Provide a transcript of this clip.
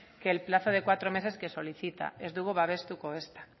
que el plazo de cuatro meses que solicita ez dugu babestuko ezta